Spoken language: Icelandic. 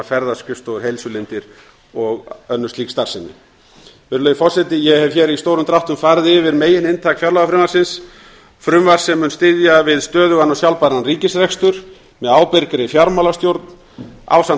ferðaskrifstofur heilsulindir og önnur slík starfsemi virðulegur forseti ég hef hér í stórum dráttum farið yfir megininntak fjárlagafrumvarpsins frumvarps sem mun styðja við stöðugan og sjálfbæran ríkisrekstur með ábyrgri fjármálastjórn ásamt